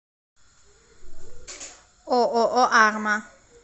ооо арма